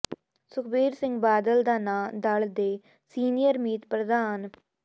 ਸੁਖਬੀਰ ਸਿੰਘ ਬਾਦਲ ਦਾ ਨਾਂਅ ਦਲ ਦੇ ਸੀਨੀਅਰ ਮੀਤ ਪ੍ਰਧਾਨ ਸ